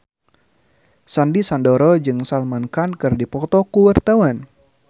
Sandy Sandoro jeung Salman Khan keur dipoto ku wartawan